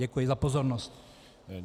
Děkuji za pozornost.